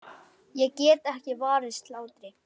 Ég get ekki varist hlátri.